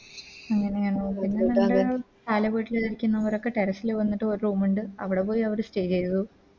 അങ്ങനെയാണോ പിന്നെ ഞങ്ങടെ പാല വീട്ടിലൊക്കെ ഇരിക്കുന്ന പോലൊക്കെ Terrace ല് വന്നിട്ട് ഒര് Room ഇണ്ട് അവിടെ പോയി അവര് Stay ചെയ്തു